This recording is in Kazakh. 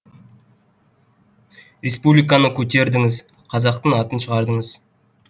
республиканы көтердіңіз қазақтың атын шығардыңыз